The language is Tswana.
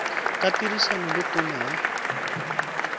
ka tirisano le tona ya